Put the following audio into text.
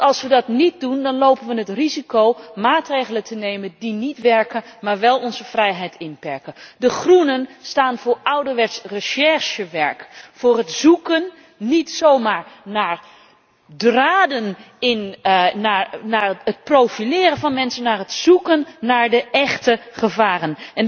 Want als we dat niet doen, dan lopen we het risico maatregelen te nemen die niet werken, maar wel onze vrijheid inperken. De Groenen staan voor ouderwets recherchewerk, niet zomaar het zoeken naar draden en het profileren van mensen, maar het zoeken naar de echte gevaren.